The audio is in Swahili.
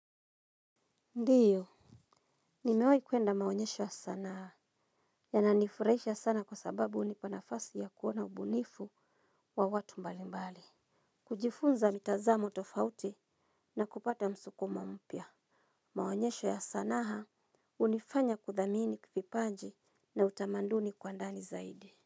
Ndiyo nimewai kuenda maonyesho ya sanaa. Ya nanifurahisha sana kwa sababu unipa nafasi ya kuona ubunifu, wa watu mbali mbali. Kujifunza mitazamo tofauti, na kupata msuko mampya. Maonyesho ya sanaha, unifanya kuthamini vipanji na utamanduni kwa ndani zaidi.